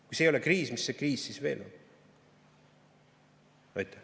Kui see ei ole kriis, siis mis see kriis veel on?